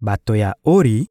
Bato ya Ori